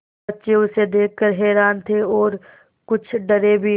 बच्चे उसे देख कर हैरान थे और कुछ डरे भी